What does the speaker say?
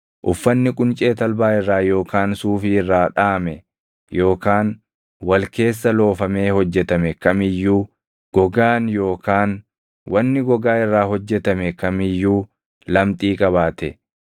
uffanni quncee talbaa irraa yookaan suufii irraa dhaʼame yookaan wal keessa loofamee hojjetame kam iyyuu, gogaan yookaan wanni gogaa irraa hojjetame kam iyyuu lamxii qabaate,